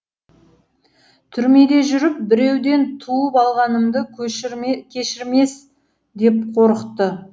түрмеде жүріп біреуден туып алғанымды кешірмес деп қорықты